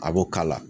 A b'o kala